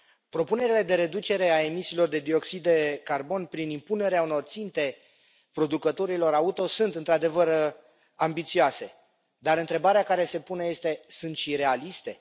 Propunerile de reducere a emisiilor de dioxid de carbon prin impunerea unor ținte producătorilor auto sunt într adevăr ambițioase, dar întrebarea care se pune este sunt și realiste?